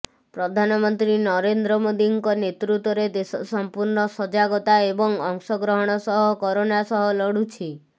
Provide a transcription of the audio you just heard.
ପ୍ରଧାନମନ୍ତ୍ରୀ ନରେନ୍ଦ୍ର ମୋଦୀଙ୍କ ନେତୃତ୍ୱରେ ଦେଶ ସମ୍ପୂର୍ଣ୍ଣ ସଜାଗତା ଏବଂ ଅଂଶଗ୍ରହଣ ସହ କରୋନା ସହ ଲଢ଼ୁଛି